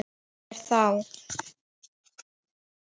Hver þá?